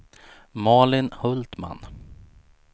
Malin Hultman